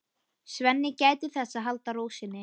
Svenni gætir þess að halda ró sinni.